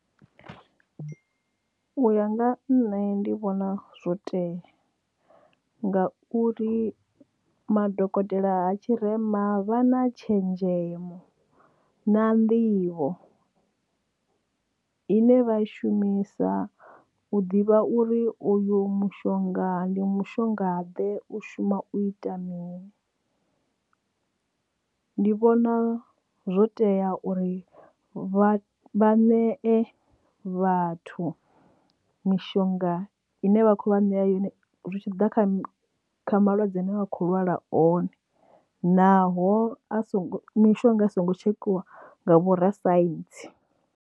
U ya nga nṋe ndi vhona zwo tea nga uri madokotela a tshirema vha na tshenzhemo na nḓivho ine vha i shumisa u ḓivha uri uyo mushonga ndi mushonga ḓe u shuma u ita mini ndi vhona zwo tea uri vha vha nee vhathu mishonga ine vha kho vha nea yone zwi tshi ḓa kha malwadze ane vha khou lwala one naho a songo mishonga i songo tshekhiwa nga vhorasaintsi.